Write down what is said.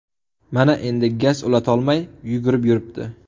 Mana endi gaz ulatolmay yugurib yuribdi.